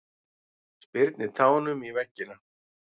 Spyrnir tánum í veggina.